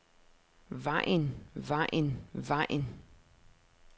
vejen vejen vejen